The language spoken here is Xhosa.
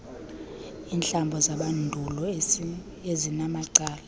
iintlambo zamandulo ezinamacala